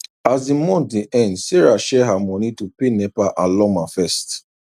as the month dey end sarah share her money to pay nepa and lawma first